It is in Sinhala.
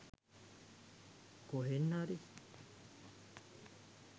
කොහෙන් හරි